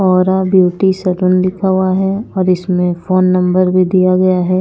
औरा beauty salon लिखा हुआ है और इसमें फोन नंबर भी दिया गया है।